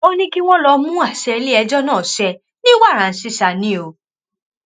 ó ní kí wọn lọọ mú àṣẹ iléẹjọ náà ṣe ní wàràǹṣesà ni o